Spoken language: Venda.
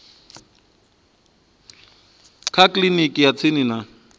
kha kiliniki ya tsini kana